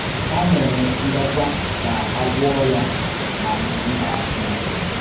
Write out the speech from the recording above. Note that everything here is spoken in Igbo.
Ha mèrè ndòkwà ka a gwọ́ọ̀ ya n’á mba dị̀ nso